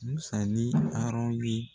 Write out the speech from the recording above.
Musa ni Harɔn ye.